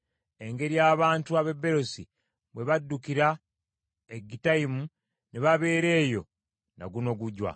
engeri abantu ab’e Beerosi bwe baddukira e Gittayimu, ne babeera eyo na guno gujwa.